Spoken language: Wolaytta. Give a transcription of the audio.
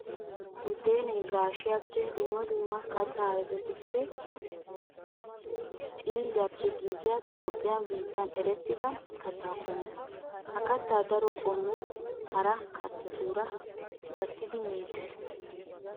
Buddeenay gaashiyappenne dumma dumma katta ayfetu xiilliyappe giigiya Toophphiya biittan erettidda katta qommo. Ha katta daro qommo hara kattatuura gattidi meetes.